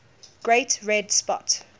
great red spot